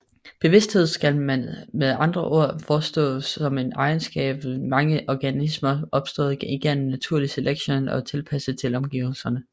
Bevidsthed skal med andre ord forstås som en egenskab ved mange organismer opstået igennem naturlig selektion og tilpasning til omgivelserne